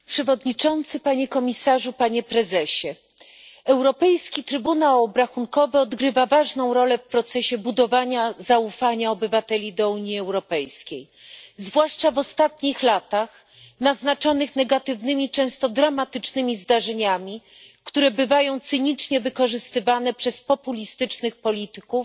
Panie Przewodniczący! Panie Komisarzu! Panie Prezesie! Europejski Trybunał Obrachunkowy odgrywa ważną rolę w procesie budowania zaufania obywateli do Unii Europejskiej, zwłaszcza w ostatnich latach naznaczonych negatywnymi, często dramatycznymi zdarzeniami, które bywają cynicznie wykorzystywane przez populistycznych polityków